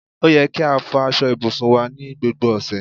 Ó yẹ kí a fò aṣọ ibùsùn wá ní gbogbo ọ̀sẹ̀